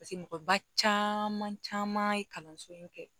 Paseke mɔgɔ ba caman caman ye kalanso in kɛ